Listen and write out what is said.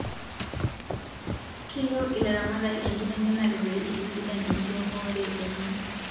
Keyieu ilaramatak inkitengenare pee itisidan inkiremore enye